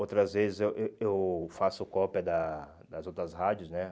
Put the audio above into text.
Outras vezes eu eh eu faço cópia da das outras rádios, né?